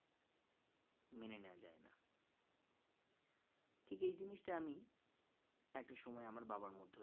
ঠিক এই জিনিসটাই আমি একটা সময় আমার বাবার মধ্যেও